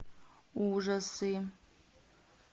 ужасы